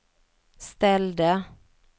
ställde